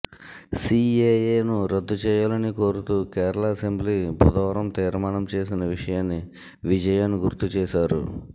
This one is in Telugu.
సిఎఎను రద్దు చేయాలని కోరుతూ కేరళ అసెంబ్లీ బుధవారం తీర్మానం చేసిన విషయాన్ని విజయన్ గుర్తుచేశారు